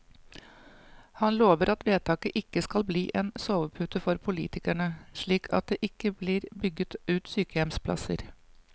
Han lover at vedtaket ikke skal bli en sovepute for politikerne, slik at det ikke blir bygget ut sykehjemsplasser.